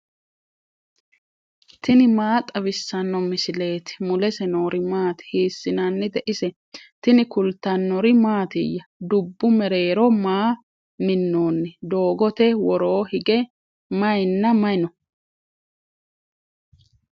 tini maa xawissanno misileeti ? mulese noori maati ? hiissinannite ise ? tini kultannori mattiya? dubbu mereerro maa minnoonni? doogotte woroo hige mayiinna mayi noo?